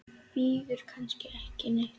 Bíður kannski ekki neitt?